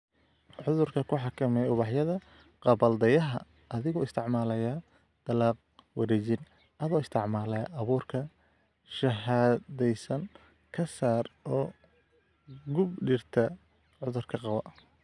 "Cudurka ku xakamee ubaxyada gabbaldayaha adigoo isticmaalaya, dalag-wareejin, adoo isticmaalaya abuurka shahaadaysan, ka saar oo gub dhirta cudurka qaba."